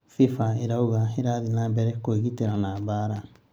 FIFA ĩrauga irathii na mbere kwĩgitĩra na mbara